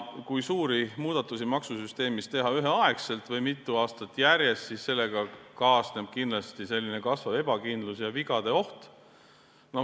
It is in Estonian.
Kui teha suuri muudatusi maksusüsteemis ühel aastal või mitu aastat järjest, siis sellega kaasneb kindlasti kasvav ebakindlus ja vigade oht.